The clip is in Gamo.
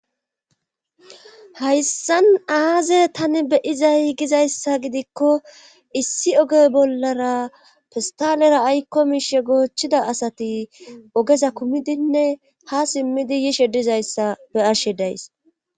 Hayssan aaze tani be'izay gizaysa gidikko issi oge bollara pesttalera aykko miishsha goochchida asati ogeza kumidinne ha simmidi yishe dizayssa be'ashe days.